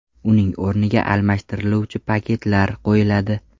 Uning o‘rniga almashtiriluvchi paketlar qo‘yiladi.